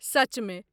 सचमे !